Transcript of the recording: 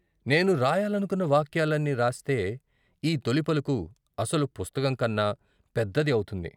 నేను రాయాలనుకున్న వాక్యాలన్నీ రాస్తే ఈ తొలి పలుకు ' అసలు పుస్తకం ' కన్న పెద్దది అవుతుంది.